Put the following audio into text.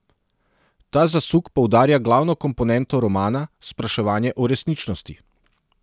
Ta zasuk poudarja glavno komponento romana, spraševanje o resničnosti.